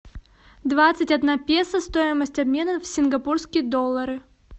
двадцать одна песо стоимость обмена в сингапурские доллары